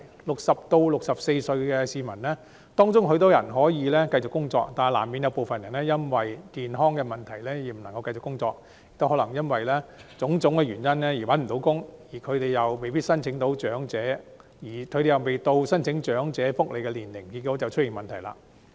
60歲至64歲的市民中有很多人可以繼續工作，但難免有部分人因健康問題而無法繼續工作，又或可能因種種原因而未能找到工作，而他們又未屆申請長者福利的年齡，結果便出現問題。